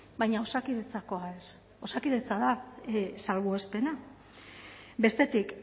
baina osakidetzakoa ez osakidetza da salbuespena bestetik